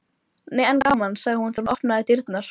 Nei en gaman, sagði hún þegar hún opnaði dyrnar.